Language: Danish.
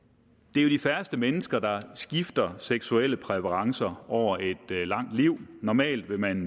det er de færreste mennesker der skifter seksuelle præferencer over et langt liv normalt vil man